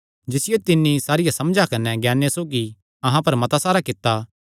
जिसियो तिन्नी सारिया समझा कने ज्ञाने सौगी अहां पर मता सारा कित्ता